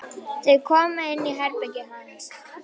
Þau koma inn í herbergið hans.